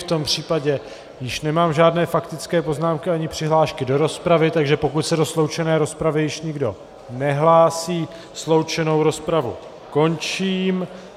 V tom případě již nemám žádné faktické poznámky ani přihlášky do rozpravy, takže pokud se do sloučené rozpravy již nikdo nehlásí, sloučenou rozpravu končím.